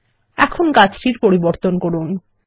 এখন গাছটির পরিবর্তন করুন